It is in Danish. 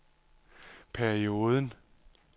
perioden